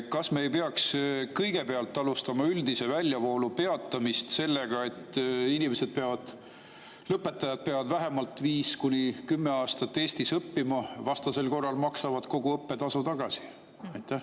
Kas me ei peaks alustama üldise väljavoolu peatamist sellest, et lõpetajad peaksid vähemalt 5–10 aastat Eestis õppima, vastasel korral peaksid nad kogu õppetasu tagasi maksma?